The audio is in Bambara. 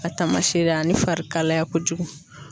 A taamasere ani fari kalaya ko jugu.